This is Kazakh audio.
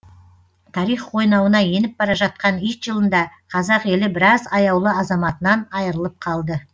тарих қойнауына еніп бара жатқан ит жылында қазақ елі біраз аяулы азаматынан айырылып қалды